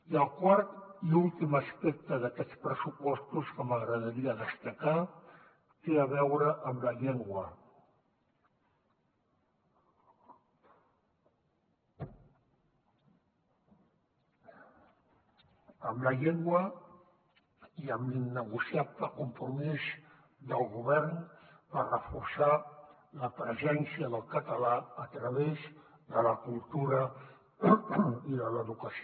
i el quart i últim aspecte d’aquests pressupostos que m’agradaria destacar té a veure amb la llengua amb la llengua i amb l’innegociable compromís del govern per reforçar la presència del català a través de la cultura i de l’educació